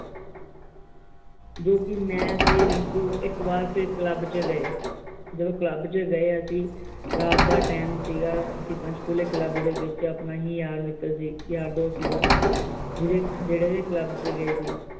ਜੋ ਕਿ ਮੈ ਅਤੇ ਰਿੰਕੂ ਇਕ ਵਾਰ ਫੇਰ club ਚ ਗਏ, ਜਦੋ ਕਲੱਬ ਚ ਗਏ ਅਸੀ ਰਾਤ ਦਾ time ਸੀਗਾ। ਅਸੀ ਪੰਚਕੂਲੇ club ਦੇ ਵਿਚ ਆਪਣਾ ਹੀ ਯਾਰ ਮਿੱਤਰ ਸੀ, ਯਾਰ ਦੋਸਤ ਸੀਗਾ ਜਿਹੜੇ ਵੀ club ਵਿਚ ਗਏ ਸੀ ।